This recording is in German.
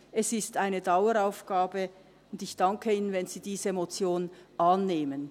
Es ist eine Daueraufgabe, und ich danke Ihnen, wenn Sie diese Motion annehmen.